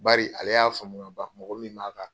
Bari ale y'a faamu ka ban mɔgɔ min b'a ka